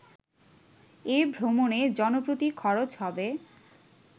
এ ভ্রমণে জনপ্রতি খরচ হবে